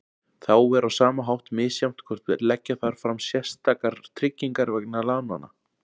Þá er á sama hátt misjafnt hvort leggja þarf fram sérstakar tryggingar vegna lánanna.